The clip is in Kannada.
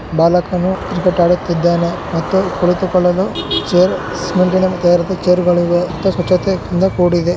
ಬಾಲಕನು ಕ್ರಿಕೆಟ್ ಆಡುತ್ತಿದ್ದಾನೆ ಮತ್ತು ಕುಳಿತುಕೊಳ್ಳಲು ಚೇರ್ ಸಿಮೆಂಟ್ ನಿಂದ ತಯಾರಾದ ಚೇರುಗಳಿವೆ ಸುತ್ತ ಸ್ವಚತೆ ಇಂದ ಕೂಡಿದೆ .